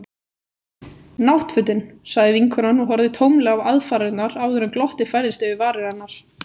Náttfötin. sagði vinkonan og horfði tómlega á aðfarirnar áður en glottið færðist yfir varir hennar.